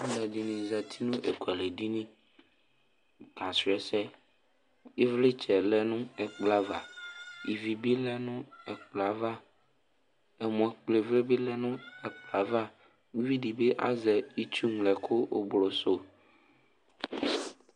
Aluɛdini zati nu ekualɛ dini akasu ɛsɛ ivlitsɛ lɛ nu ɛkplɔ ava ivi nu lɛ nu ɛkplɔ ava ɛmɔ kpɔ ivlɛ bi lɛ nu ɛkplɔ ava uvidibi azɛ ɛku ŋlo ublusu